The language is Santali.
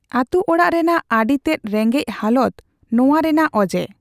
ᱟᱹᱛᱩ ᱚᱲᱟᱜ ᱨᱮᱱᱟᱜ ᱟᱹᱰᱤ ᱛᱮᱫ ᱨᱮᱸᱜᱮᱡ ᱦᱟᱞᱚᱛ ᱱᱚᱣᱟ ᱨᱮᱱᱟᱜ ᱚᱡᱮ ᱾